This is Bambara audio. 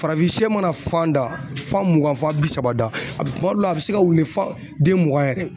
Farafin shɛ mana fan da, fan mugan fan bi saba da, a bɛ kuma dɔw la a bɛ se ka wuli fan den mugan yɛrɛ ye.